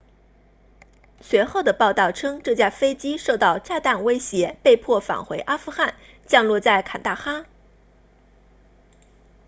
随后的报道称这架飞机受到炸弹威胁被迫返回阿富汗降落在坎大哈